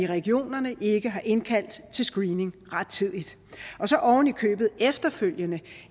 regionerne ikke har indkaldt til screening rettidigt og så oven i købet efterfølgende